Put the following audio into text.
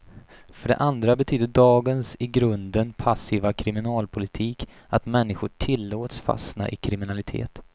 För det andra betyder dagens i grunden passiva kriminalpolitik att människor tillåts fastna i kriminalitet.